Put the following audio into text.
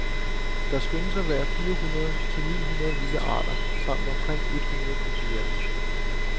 Der skønnes at være fire hundrede ni hundrede vilde arter samt omkring et hundrede kultiverede.